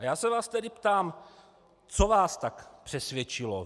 A já se vás tedy ptám, co vás tak přesvědčilo.